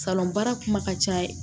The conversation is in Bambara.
baara kuma ka ca